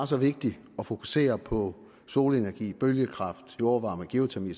så vigtigt at fokusere på solenergi bølgekraft jordvarme geotermi